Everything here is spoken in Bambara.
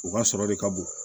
U ka sɔrɔ de ka bon